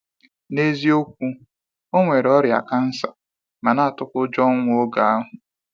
N’eziokwu, o nwere ọrịa kansa ma na atụkwa ụjọ ọnwụ oge ahụ.